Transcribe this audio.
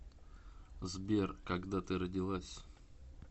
сбер когда ты родилась